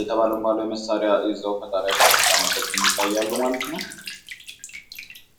የተባለ መሳሪያ ይዘው ፈጣሪያቸውን ሲያመሰግን ይታይሉ። ማለት ነው።